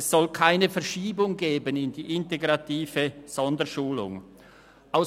Es soll also keine Verschiebung in die integrative Sonderschulung geben.